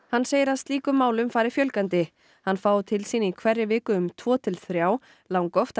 hann segir að slíkum málum fari fjölgandi hann fái til sín í hverri viku um tvo til þrjá langoftast